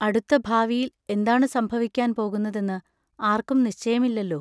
അടുത്ത ഭാവിയിൽ എന്താണു സംഭവിക്കാൻ പോകുന്ന തെന്ന് ആർക്കും നിശ്ചയമില്ലല്ലോ.